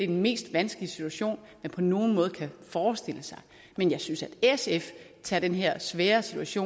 den mest vanskelige situation man på nogen måde kan forestille sig men jeg synes at sf tager den her svære situation